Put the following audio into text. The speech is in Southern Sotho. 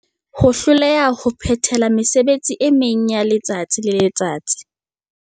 Ho hloleha ho phethela mesebetsi e meng yaletsatsi le letsatsi.